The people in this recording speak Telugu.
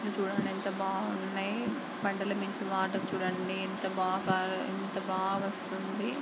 ఇది చుడండి ఎంత బాగున్నాయ్. కొండల నుంచి వాటర్ చూడండి ఎంత బాగా పారా ఎంత బాగా వస్తుంది.